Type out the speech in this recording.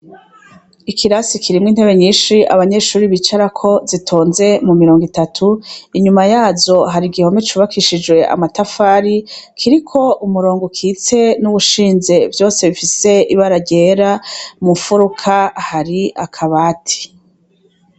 Ikirasi kirimwo intebe nyinshi abanyeshure bicarako zitonze mumirongo itatu, inyuma yazo hari igihome cubakishije amatafari, kiriko umurongo ukitse n'uwushinze vyose bifise ibara ryera, mumfurika hari akabati.